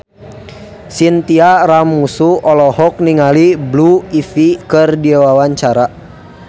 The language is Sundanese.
Chintya Lamusu olohok ningali Blue Ivy keur diwawancara